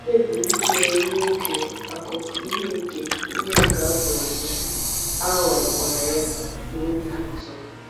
O kpebiri ichere ruo oge akụkụ ihe nke ihe nke afọ ọzọ, a ghọkwara ya n’ohi ọzọ.